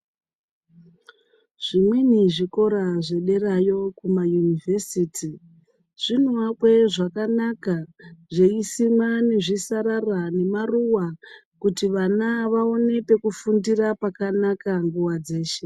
Zvimweni zvikora zve derayo Kuma University zvinoakwe zvakanaka zveisimwa nezvi sarara nemaruva kuti vana vaone peku fundira pakanaka nguva dzeshe.